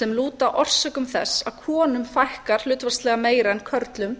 sem lúta að orsökum þess að konum fækkar hlutfallslega meira en körlum